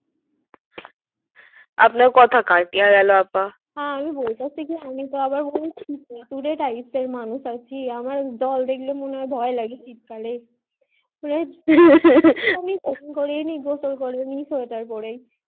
আপনার কথা কাটিয়া গেল আপা আমি বলতেসি কি আমি তো আবার এই শীত এ কুরে type আর মানুষ আমার জল দেখলে মনে ভয় লাগে বেশি গোসল করেনি গোসল কেনই সোয়েটার পরে